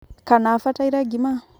kana abataire ngima?